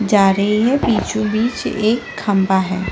जा रही है बीचो-बीच एक खम्भा हैं ।